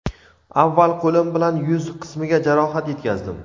Avval qo‘lim bilan yuz qismiga jarohat yetkazdim.